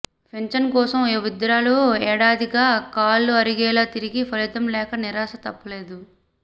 pension కోసం ఓ వృద్ధురాలు ఏడాదిగా కాళ్లు అరిగేలా తిరిగిన ఫలితం లేక నిరాశ తప్పలేదు